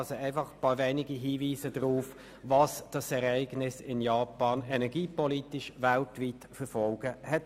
Dies sind einzelne Hinweise auf die weltweiten energiepolitischen Folgen des Ereignisses in Japan.